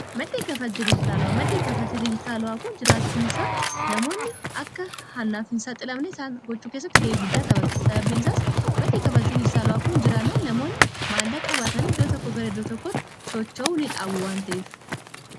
maddii kafaltii dijitaalawaa. maddii kaffaltii dijitaalawaa kun jiraachuun isaa namoonni akka hannaaf hin saaxilamne isaan gochuu keessatti ga'ee guddaa taphata sababbiin isaas maddi ka falti dijitaalawaa kun jiraannaan namoonni maallaaqa baatanii iddoo tokko gara iddoo tokkotti socha'uu nii dhaabu wante'ef